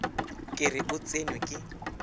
ke re o tsenwe ke